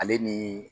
Ale ni